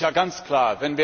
Das ist ja ganz klar.